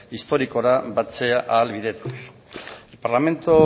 historikora batzea ahalbidetuz el parlamento